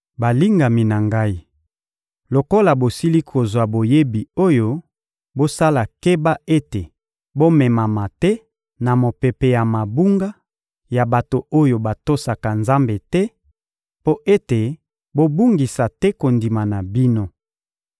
Balingami na ngai, lokola bosili kozwa boyebi oyo, bosala keba ete bomemama te na mopepe ya mabunga ya bato oyo batosaka Nzambe te, mpo ete bobungisa te kondima na bino;